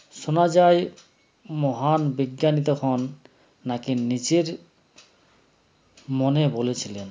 শোনা যায় মহান বিজ্ঞানী তখন নাকি নিজের মনে বলেছিলেন